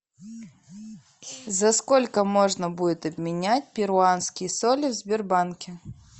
за сколько можно будет обменять перуанские соли в сбербанке